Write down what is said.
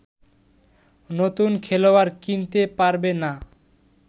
নুতন খেলোয়াড় কিনতে পারবে না